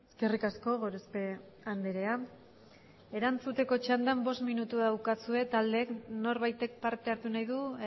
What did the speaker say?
eskerrik asko gorospe andrea erantzuteko txandan bost minutu daukazue taldeek norbaitek parte hartu nahi du